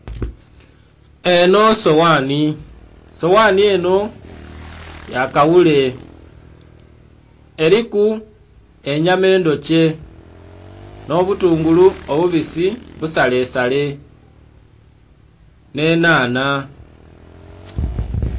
Enho sowanhi, sowanhi enho yakaghule eliku enyama edhokye nho butungulu obubisi busale sale nhe nhanha.